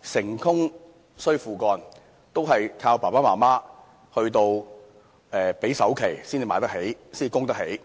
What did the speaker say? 示"成功需父幹"，原來是靠父母支付首期才買得起樓宇單位。